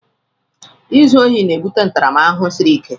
Izu ohi na-ebute ntaramahụhụ siri ike.